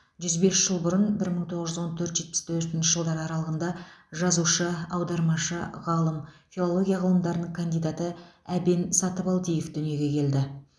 жүз бес жыл бұрын бір мың тоғыз жүз он төрт жетпіс төртінші аралығында жазушы аудармашы ғалым филология ғылымдарының кандидаты әбен сатыбалдиев дүниеге келді